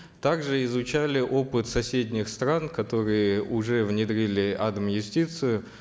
также изучали опыт соседних стран которые уже внедрили адм юстицию